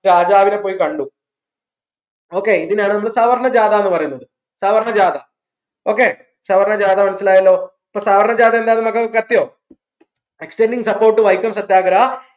രാജാവിനെ പോയി കണ്ടു okay ഇതിനാണ് നമ്മൾ സവർണ്ണ ജാഥ ന്ന് പറയുന്നത് സവർണ്ണ ജാഥ okay സവർണ്ണ ജാഥ മനസ്സിലായല്ലോ അപ്പോ സവർണ്ണജാത എന്താന്ന് മക്കൾക്ക് കത്തിയോ support വൈക്കം സത്യാഗ്രഹ